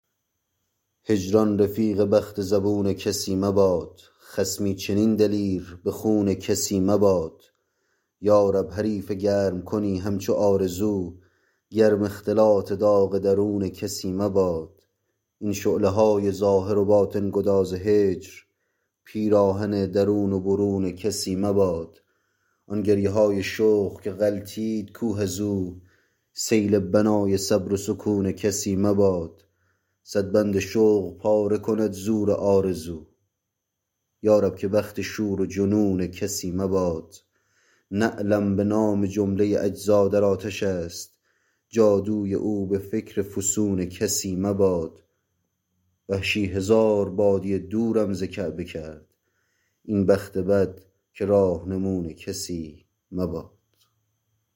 هجران رفیق بخت زبون کسی مباد خصمی چنین دلیر به خون کسی مباد یارب حریف گرم کنی همچو آرزو گرم اختلاط داغ درون کسی مباد این شعله های ظاهر و باطن گداز هجر پیراهن درون و برون کسی مباد آن گریه های شوق که غلتید کوه از او سیل بنای صبر و سکون کسی مباد صد بند شوق پاره کند زور آرزو یارب که بخت شور و جنون کسی مباد نعلم به نام جمله اجزا در آتش است جادوی او به فکر فسون کسی مباد وحشی هزار بادیه دورم ز کعبه کرد این بخت بد که راهنمون کسی مباد